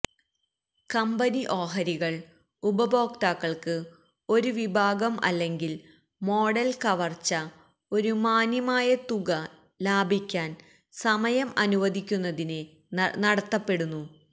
company ഓഹരികൾ ഉപഭോക്താക്കൾക്ക് ഒരു വിഭാഗം അല്ലെങ്കിൽ മോഡൽ കവർച്ച ഒരു മാന്യമായ തുക ലാഭിക്കാൻ സമയം അനുവദിക്കുന്നതിന് നടത്തപ്പെടുന്നു